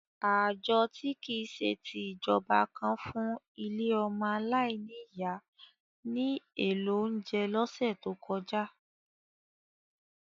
Ààjọ-tí-kìí-ṣe-ti-ìjọba kan fún ilé ọmọ aláìní ìyá ní èlò oúnjẹ lọ́sẹ̀ tó kọjá.